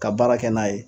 Ka baara kɛ n'a ye